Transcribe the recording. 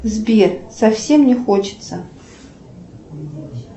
сбер совсем не хочется